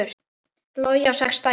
Logi á sex dætur.